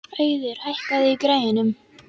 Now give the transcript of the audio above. Auðun, hækkaðu í græjunum.